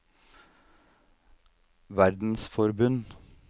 verdensforbund